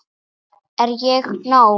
Er ég nóg!